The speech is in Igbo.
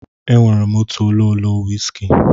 E nwere m otu ololo wiski.